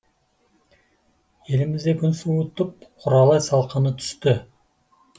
елімізде күн суытып құралай салқыны түсті